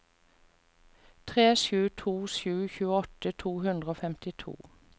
tre sju to sju tjueåtte to hundre og femtito